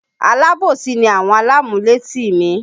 Alábòsí ni àwọn alámúlétì mi